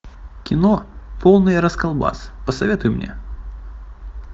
кино полный расколбас посоветуй мне